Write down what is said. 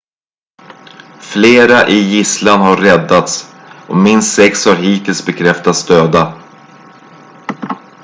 flera i gisslan har räddats och minst sex har hittills bekräftats döda